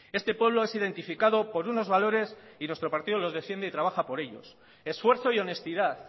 este pueblo es identificado por unos valores y nuestro partido los defiende y trabaja por ellos esfuerzo y honestidad